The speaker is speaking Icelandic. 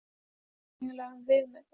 Braghildur, hefur þú prófað nýja leikinn?